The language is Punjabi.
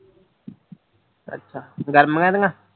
ਅੱਛਾ ਗਰਮੀਆਂ ਦਿਆਂ